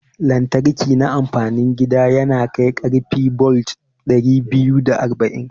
Lantriki na amfanin gida yanakai karfi bolt dari biyu da arba'in